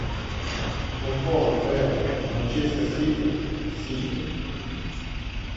футбол апл манчестер сити сити